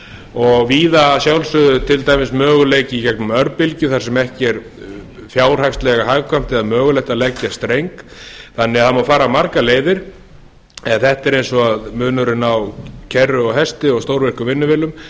og víða að sjálfsögðu möguleiki í gegnum örbylgju þar sem ekki er fjárhagslega hagkvæmt eða mögulegt að leggja streng þannig að það má fara margar leiðir en þetta er eins og munurinn á kerru og hesti og stórvirkum vinnuvélum